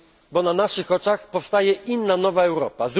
Bo na naszych oczach powstaje inna nowa Europa.